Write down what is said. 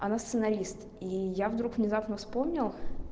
она сценарист и я вдруг внезапно вспомнил